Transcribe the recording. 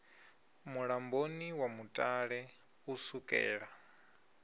mulamboni wa mutale u sukela